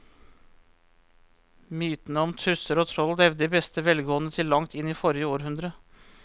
Mytene om tusser og troll levde i beste velgående til langt inn i forrige århundre.